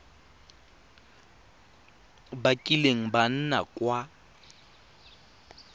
ba kileng ba nna kwa